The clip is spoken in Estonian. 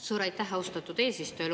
Suur aitäh, austatud eesistuja!